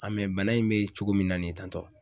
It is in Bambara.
A bana in be cogo min na ni ye tantɔ?